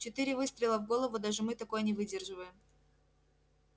четыре выстрела в голову даже мы такое не выдерживаем